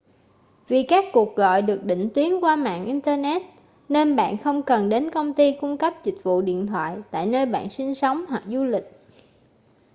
vì các cuộc gọi được định tuyến qua mạng internet nên bạn không cần đến công ty cung cấp dịch vụ điện thoại tại nơi bạn sinh sống hoặc du lịch